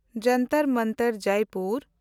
Jantar Mantar (Jaipur)